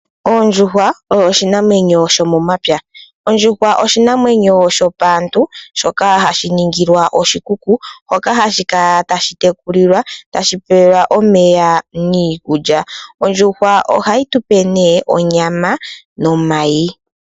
Oondjuhwa odho iinamwenyo shopaantu shoka hashi ningilwa oshikuku hoka hashi kala tashi tekulilwa tashi pewelwa ko omeya niikulya. Ondjuhwa ohayi tupe onyama nomayi.